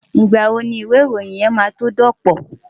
Ìgbà wo ni ìwé ìròyìn máa tó dọ̀pọ̀?